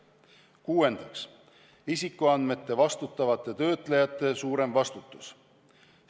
Kuuendaks, isikuandmete vastutavate töötlejate suurem vastutus.